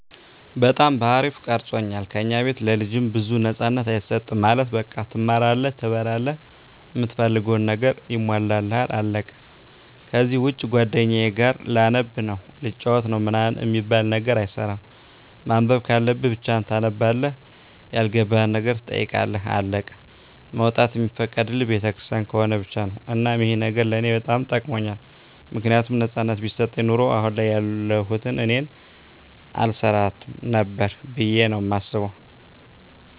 በጣም በአሪፉ ቀርፆኛል። ከኛ ቤት ለልጅ ብዙም ነፃነት አይሰጥም ማለት በቃ ትማራለህ፣ ትበላላህ፣ እምትፈልገው ነገር ይሟላልሃል አለቀ ከዚህ ውጭ ጓደኛዬ ጋር ላነብ ነው፣ ልጫወት ነው ምናምን አሚባል ነገር አይሰራም። ማንበብ ካለብህ ብቻህን ታነባለህ ያልገባህን ነገር ትጠይቃለህ አለቀ። መውጣት እሚፈቀድልን ቤተክርስቲያን ከሆነ ብቻ ነው። እናም ይህ ነገር ለኔ በጣም ጠቅሞኛል ምክንያቱም ነፃነት ቢሰጠኝ ኑሮ አሁን ያለሁት እኔን አልሰራትም ነበር ብዬ ነው ማስበው